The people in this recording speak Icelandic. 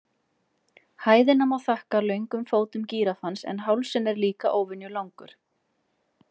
Hæðina má þakka löngum fótum gíraffans en hálsinn er líka óvenju langur.